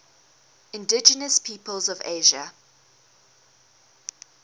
indigenous peoples of asia